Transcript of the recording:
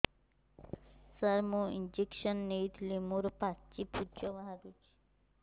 ସାର ମୁଁ ଇଂଜେକସନ ନେଇଥିଲି ମୋରୋ ପାଚି ପୂଜ ବାହାରୁଚି